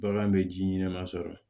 Bagan bɛ ji ɲɛnɛman sɔrɔ